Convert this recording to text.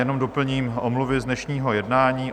Jenom doplním omluvy z dnešního jednání.